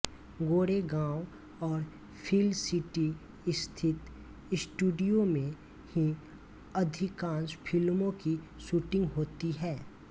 गोरेगांव और फिल सिटी स्थित स्टूडियो में ही अधिकांश फिल्मों की शूटिंग होतीं हैं